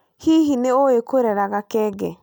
Hihi nĩ ũĩ kũrera gakenge?